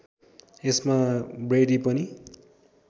यसमा ब्रैडी पनि